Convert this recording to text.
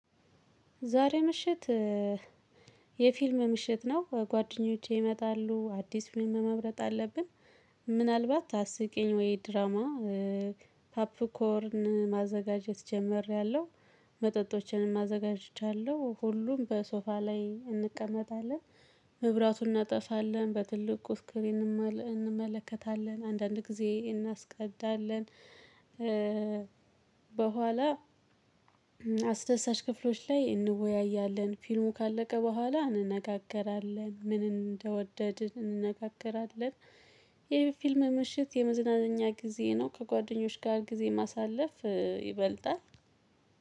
ዛሬ ምሽት የፊልም ምሽት ነው ከጓደኞቼ ይመጣሉ አዲስ ፊልም መምረጥ አለብን። ምናልባት አስቂኝ ወይ ድራማ? ፓፕኮርን ማዘጋጀት ጀመርሬያለው መጠጦችንም አዘጋጅቻለሁ ሁሉም በሶፋ ላይ እንቀመጣለን። መብራቱን እናጠፋለን በትልቁ ስክሪን እንመለከታለን አንዳንድ ጊዜ እናስቀዳለን። በኋላ አስደሳች ክፍሎች ላይ እንወያያለን ፊልሙ ካለቀ በኋላ እንነጋገራለን ምን እንደወደድን እንነጋገራለን። የፊልም ምሽት የመዝናኛ ጊዜ ነው። ከጓደኞች ጋር ጊዜ ማሳለፍ ይበልጣል።